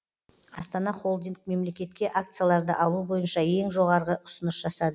астана холдинг мемлекетке акцияларды алу бойынша ең жоғарғы ұсыныс жасады